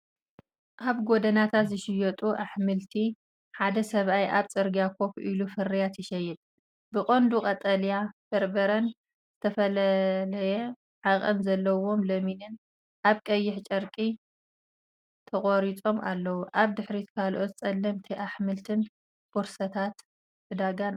ኣብ ጎደናታት ዝሸይጥ ኣሕምልቲ። ሓደ ሰብኣይ ኣብ ጽርግያ ኮፍ ኢሉ ፍርያት ይሸይጥ። ብቐንዱ ቀጠልያ በርበረን ዝተፈላለየ ዓቐን ዘለዎም ለሚንን ኣብ ቀይሕ ጨርቂ ተቐሪጾም ኣለዉ። ኣብ ድሕሪት ካልኦት ጸለምቲ ኣሕምልትን ቦርሳታት ዕዳጋን ኣለዉ።